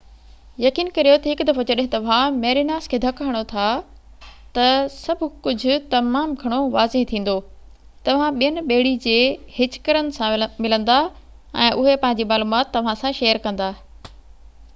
يقين ڪريو ته هڪ دفعو جڏهن توهان ميريناس کي ڌڪ هڻو ٿا ته سڀ ڪجهه تمام گهڻو واضح ٿيندو توهان ٻين ٻيڙي جي هچڪرن سان ملندا ۽ اهي پنهنجي معلومات توهان سان شيئر ڪندا